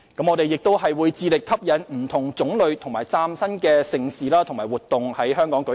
我們亦會致力吸引不同種類和嶄新的盛事和活動在本港舉行。